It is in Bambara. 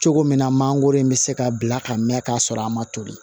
Cogo min na mangoro in bɛ se ka bila ka mɛn ka sɔrɔ a ma toli